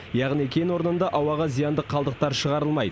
яғни кен орнында ауаға зиянды қалдықтар шығарылмайды